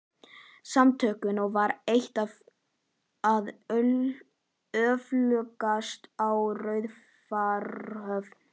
Samtökunum og var eitt það öflugasta á Raufarhöfn.